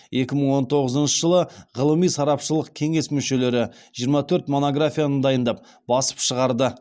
екі мың он тоғызыншы жылы ғылыми сарапшылық кеңес мүшелері жиырма төрт монографияны дайындап басып шығарды